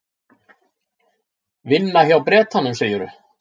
Vinna hjá Bretanum, segirðu?